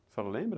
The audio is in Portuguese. A senhora lembra?